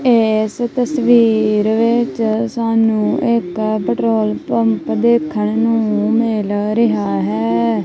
ਇਸ ਤਸਵੀਰ ਵਿੱਚ ਸਾਨੂੰ ਇੱਕ ਪੈਟਰੋਲ ਪੰਪ ਦੇਖਣ ਨੂੰ ਮਿਲ ਰਿਹਾ ਹੈ।